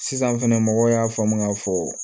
Sisan fɛnɛ mɔgɔw y'a faamu k'a fɔ